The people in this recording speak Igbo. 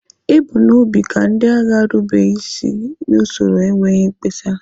E bu n'obi ka ndị agha rube isi n'usoro n'enweghị mkpesa.